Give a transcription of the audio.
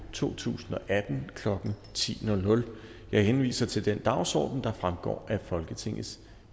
to tusind og atten klokken ti jeg henviser til den dagsorden der fremgår af folketingets